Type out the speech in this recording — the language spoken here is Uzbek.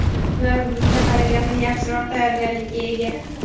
Ular bizga qaraganda yaxshiroq tayyorgarlikka ega.